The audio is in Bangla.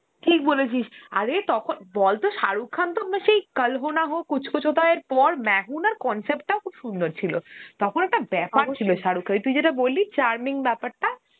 ঠিক বলেছিস আরে তখন বলত শাহরুখ তো ম~ সেই Hindi পর Hindi concept টাও খুব সুন্দর ছিল, তখন একটা শাহরুখ খানের তুই যেটা বললি charming বেপারটা